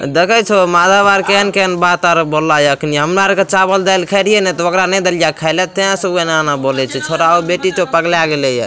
देखई छो मालाबार केन-केन बात आर बोल लाई आखिन। हमरा के चावल दाल खैलीये न त ओकरा नै देलीयै खैले ते सो ए ना ना बोलै छे छोरा और पगला गेलई हे।